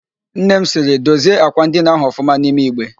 Nnem sịrị, dozie ákwà ndị ahụ ọfụma n'ime Igbe!